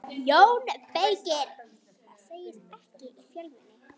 JÓN BEYKIR: Það segist ekki í fjölmenni.